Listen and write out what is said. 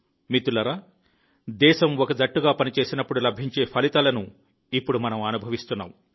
మిత్రులారా దేశం ఒక జట్టుగా పనిచేసినప్పుడు లభించే ఫలితాలను ఇప్పుడు మనం అనుభవిస్తున్నాం